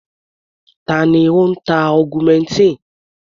Ta ni ó ń ta augmentin?